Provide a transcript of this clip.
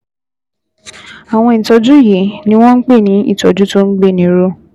Àwọn ìtọ́jú yìí ni wọ́n ń pè ní ìtọ́jú tó ń gbéni ró